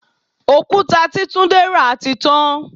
Òkúta tí túndé ra tí tán.